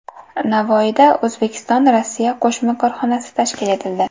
Navoiyda O‘zbekistonRossiya qo‘shma korxonasi tashkil etildi.